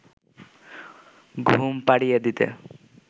ঘুম পাড়িয়ে দিতে